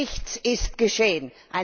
Nichts ist geschehen!